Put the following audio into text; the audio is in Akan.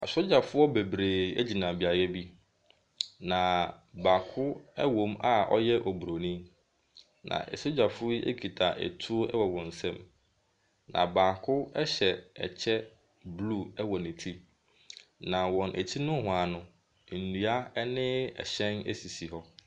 Asogyafoɔ bebree gyina beaeɛ bi, na baako wɔ mu a ɔyɛ Buronin. Na sogyafoɔ yi kita tuo wɔ wɔn nsam. Na baako hyɛ ɛkyɛ blue wɔ ne ti. Na wɔn akyi nohoa no, nnua ne ɛhyɛn sisi hɔ.